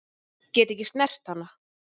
Get ekki snert hana.